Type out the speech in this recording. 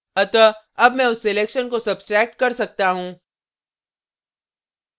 अतः अब मैं उस selection को सब्स्ट्रैक्ट कर सकता हूँ